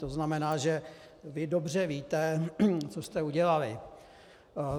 To znamená, že vy dobře víte, co jste udělali.